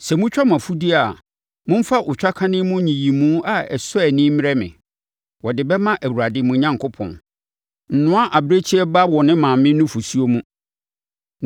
“Sɛ motwa mo mfudeɛ a, momfa otwakane mu nyiyimu a ɛsɔ ani mmrɛ me; wɔde bɛma Awurade mo Onyankopɔn. “Nnoa abirekyie ba wɔ ne maame nufosuo mu.”